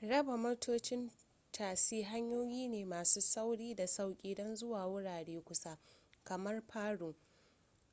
raba motocin tasi hanyoyi ne masu sauri da sauƙi don zuwa wurare kusa kamar paro